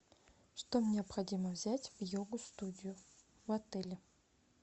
что необходимо взять в йога студию в отеле